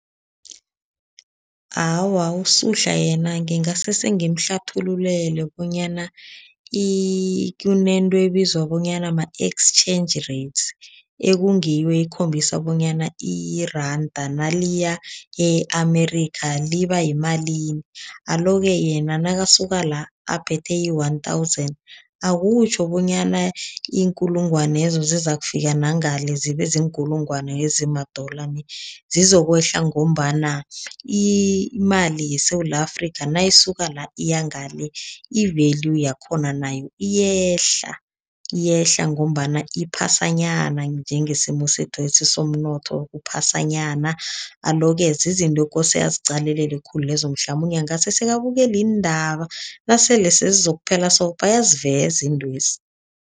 Awa, uSuhla yena ngingase sengimhlathululele bonyana kunento ebizwa bonyana ma-exchange rates, ekungiyo ekhombisa bonyana iranda naliya e-Amerikha liba yimalini. Alo-ke yena nakasuka la, aphethe i-one thousand, akutjho bonyana iinkulungwanezo zizakufika nangale zibe ziinkulungwane ezima-dollar nie. Zizokwehla ngombana imali yeSewula Afrika nayisuka la, iya ngale, i-value yakhona nayo iyehla, iyehla ngombana iphasanyana njengesimo sethwesi somnotho, uphasanyana. Alo-ke, zizinto ekose aziqalelele khulu lezo, mhlamunye angase se abukele iindaba. Nasele sezizokuphela so, bayaziveza iintwezi.